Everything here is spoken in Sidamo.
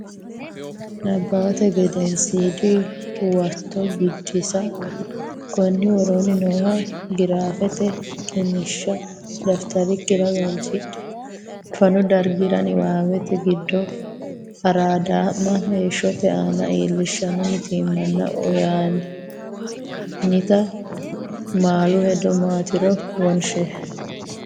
Nabbawate Gedensiidi Huwato Biddissa Konni woroonni nooha giraafete qiniishsha dafitarikkira galchidhe, fanu dargira niwaawete giddo araadaa’ma heeshshote aana iillishshanno mitiimmanna uynoonnita malu hedo maatiro wonshi.